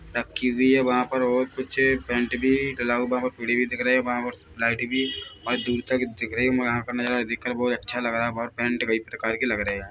--रखी हुई है वहाँ पर और कुछ पेन्ट भी डला हुआ है भी दिख रहे वहाँ पर लाइट भी बहुत दूर तक दिख रही है मुझे यहाँ नजारा देखकर बहुत अच्छा लग रहा है और पेन्ट भी कई प्रकार के लग रहे है।